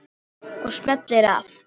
Og smellir af.